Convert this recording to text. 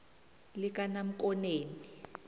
likanamkoneni